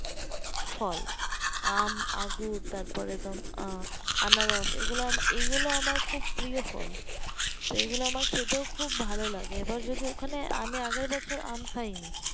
ফল আম আঙ্গুর তারপরে তো আহ আনারস এগুলো তো এগুলো আমার প্রায় ফল তো এগুলোতো আমার খেতেও খুব ভালো লাগে এবার যদি ওখানে আনে আগের বছর আমি আম খাইনি